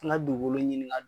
N ga dugukolo ɲini ka